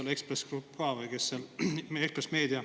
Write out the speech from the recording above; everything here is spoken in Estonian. – ka Ekspress Grupp või Meedia.